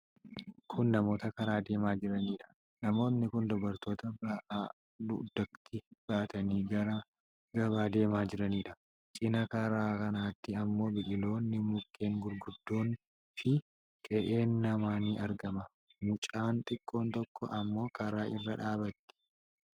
Kun namoota karaa deemaa jiranidha. Namooti kun dubartoota ba'aa dugdatti baatanii gara gabaa deemaa jiraniidha. Cinaa karaa kanaatti ammoo biqiloonni, mukkeen gurguddoon fi qe'een namaa ni argama. Mucaan xiqqoon tokko ammoo karaa irra dhaabatti.